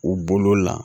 U bolo la